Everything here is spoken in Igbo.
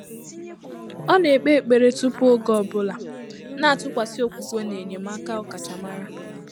Ọ́ nà-ékpé ékpèré túpù ògé ọ́ bụ́lá, nà-àtụ́kwàsị́ ókwúkwé nà ényémáká ọ́kàchàmárá.